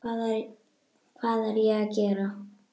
Hvað er ég að gera?